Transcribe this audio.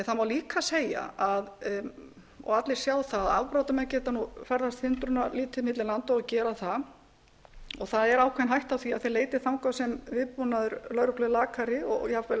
það má líka segja og allir sjá það að afbrotamenn geta nú ferðast hindrunarlítið milli landa og gera það það er ákveðin hætta á því að þeir leiti þangað sem viðbúnaður lögreglu er lakari og jafnvel